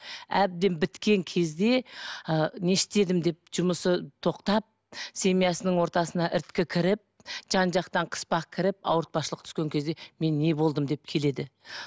әбден біткен кезде ы не істедім деп жұмысы тоқтап семьясының ортасына іріткі кіріп жан жақтан қыспақ кіріп ауыртпашылық түскен кезде мен не болдым деп келеді